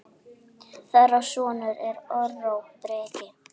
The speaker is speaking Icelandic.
Þeirra sonur er Aron Breki.